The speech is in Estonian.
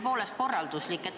Mul on korralduslik küsimus.